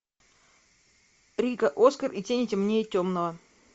рико оскар и тени темнее темного